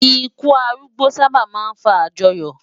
Ìkú árúgbó sábá má n fá ájòyò